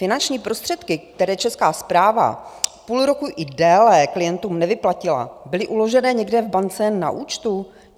Finanční prostředky, které Česká správa půl roku i déle klientům nevyplatila, byly uložené někde v bance na účtu?